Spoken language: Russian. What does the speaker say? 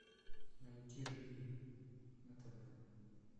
найти живи на тв